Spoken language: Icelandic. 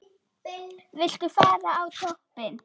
Viltu fara á toppinn?